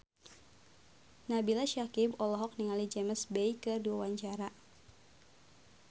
Nabila Syakieb olohok ningali James Bay keur diwawancara